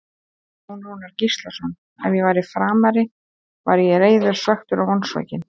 Jón Rúnar Gíslason Ef ég væri Framari væri ég reiður, svekktur og vonsvikinn.